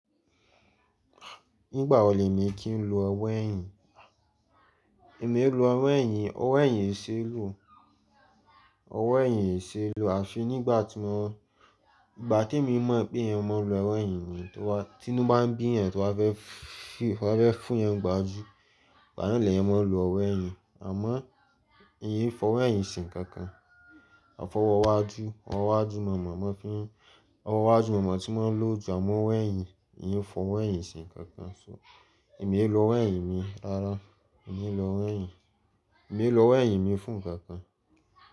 Nígbà wo lèmi kí ń lo ọwọ́ ẹ̀yìn? Èmi i lo ọwọ́ ẹ̀yìn, ọwọ́ ẹ̀yìn ì ṣe é lò, ọwọ́ ẹ̀yìn ì ṣe é lò. À fi nígbà tí mo, ìgbà tí èmi mọ̀ pé èèyàn máa ń lo ọwọ́ ẹ̀yìn ni, tí inú ń bá bí ènìyàn to bá fẹ́ fún, to bá fẹ́ fún èèyàn n gbajú, igba naa leeyàn máa ń lo ọwọ́ ẹ̀yìn. Àmọ́ n fọwọ́ ẹ̀yìn ṣe nǹkankan. A fọwọ́ wájú, ọwọ́ wájú máa ń mọ̀, máa ń fín, ọwọ́ wá jú máa ń mọ̀ tí wọn ń lò jù, àmọ́ ọwọ́ ẹ̀yìn n ò fọwọ́ ẹ̀yìn ṣe nǹkankan. So èmi e lo ọwọ́ ẹ̀yìn mi rárá, èmi ò e lo ọwọ́ ẹ̀yìn, èmi ò lo ọwọ́ ẹ̀yìn mi fún nǹkankan.